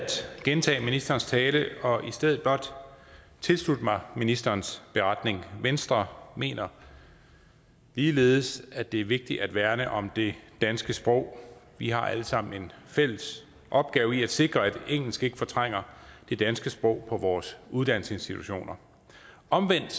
gentage ministerens tale og i stedet blot tilslutte mig ministerens beretning venstre mener ligeledes at det er vigtigt at værne om det danske sprog vi har alle sammen en fælles opgave i at sikre at engelsk ikke fortrænger det danske sprog på vores uddannelsesinstitutioner omvendt